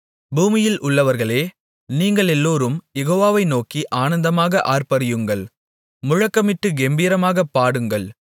பூமியில் உள்ளவர்களே நீங்களெல்லோரும் யெகோவாவை நோக்கி ஆனந்தமாக ஆர்ப்பரியுங்கள் முழக்கமிட்டுக் கெம்பீரமாகப் பாடுங்கள்